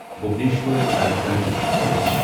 Bhubaneswar Rajdhani express